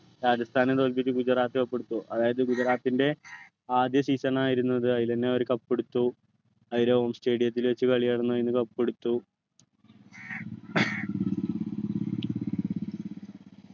രാജസ്ഥാനെ തോൽപ്പിച്ചു ഗുജറാത്ത് cup എടുത്തു അതായത് ഗുജറാത്തിൻ്റെ ആദ്യ season ണായിരുന്നു അത് അതിൽ തന്നെ അവർ cup എടുത്തു stadium ത്തിൽ വച്ച് കളി നടന്നതിന് cup എടുത്തു